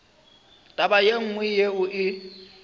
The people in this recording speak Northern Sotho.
taba ye nngwe yeo e